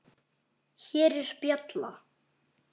Hér er bjalla.